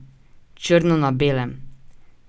Črno na belem!